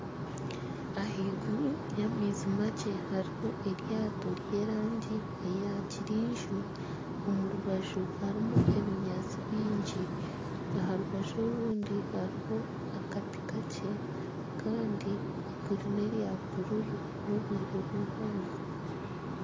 Ahaiguru y'amaizi makye hariho eryato ry'erangi ya kyenju omu rubaju harimu ebinyaatsi biingi aha rubaju orundi hariho akati kakye kandi iguru nerya bururu n'obwire bwihangwe.